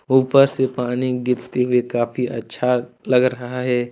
ऊपर से पानी गिरते हुए काफ़ी अच्छा लग रहा है।